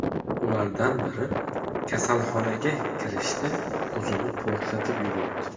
Ulardan biri kasalxonaga kirishda o‘zini portlatib yubordi.